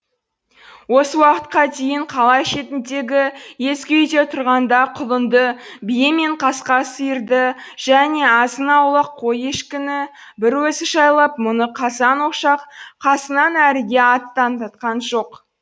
осы уақытқа дейін қала шетіндегі ескі үйде тұрғанда құлынды бие мен қасқа сиырды және азын аулақ қой ешкіні бір өзі жайлап мұны қазан ошақ қасынан әріге аттандатқан жоқ